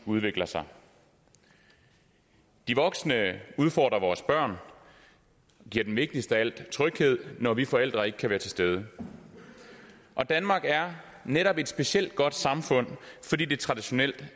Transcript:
udvikler sig de voksne udfordrer vores børn og giver dem vigtigst af alt tryghed når vi forældre ikke kan være til stede og danmark er netop et specielt godt samfund fordi det traditionelt